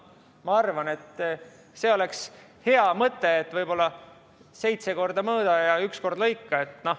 Ma arvan, et see oleks hea mõte, et seitse korda mõõda ja üks kord lõika.